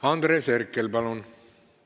Andres Herkel, palun!